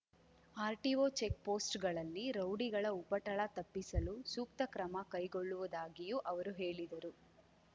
RTO ಚೆಕ್‌ಪೋಸ್ಟ್‌ಗಳಲ್ಲಿ ರೌಡಿಗಳ ಉಪಟಳ ತಪ್ಪಿಸಲು ಸೂಕ್ತ ಕ್ರಮ ಕೈಗೊಳ್ಳುವುದಾಗಿಯೂ ಅವರು ಹೇಳಿದರು